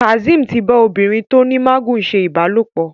Kazeem tí bá obìrin tó ní magun ṣe ìbálòpọ̀.